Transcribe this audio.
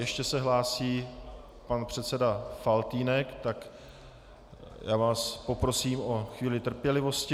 Ještě se hlásí pan předseda Faltýnek, tak já vás poprosím o chvíli trpělivosti.